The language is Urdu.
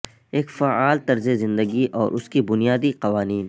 ایک فعال طرز زندگی اور اس کے بنیادی قوانین